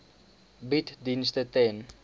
bied dienste ten